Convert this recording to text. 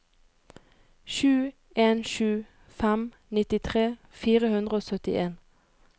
sju en sju fem nittitre fire hundre og syttien